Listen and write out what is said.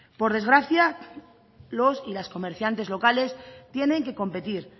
por desgracia los y las comerciantes locales tienen que competir